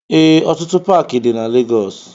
Ee, ọtụtụ Paaki dị na Legọs.